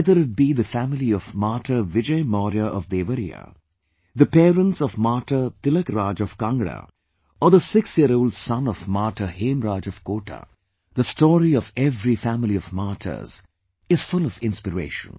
Whether it be the family of Martyr Vijay Maurya of Devariya, the parents of Martyr Tilakraj of Kangra or the six year old son of Martyr Hemraj of Kota the story of every family of martyrs is full of inspiration